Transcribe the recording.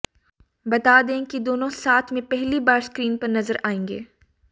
बता दें कि दोनों साथ में पहली बार स्क्रीन पर नज़र आएंगे